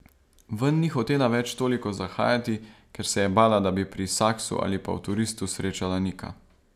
Ven ni hotela več toliko zahajati, ker se je bala, da bi pri Saksu ali pa v Turistu srečala Nika.